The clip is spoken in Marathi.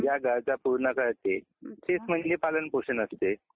या गरजा पूर्ण करते तेच म्हणजे पालन पोषण असते